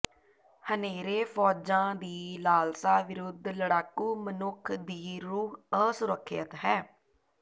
ਹਨੇਰੇ ਫ਼ੌਜਾਂ ਦੀ ਲਾਲਸਾ ਵਿਰੁੱਧ ਲੜਾਕੂ ਮਨੁੱਖ ਦੀ ਰੂਹ ਅਸੁਰੱਖਿਅਤ ਹੈ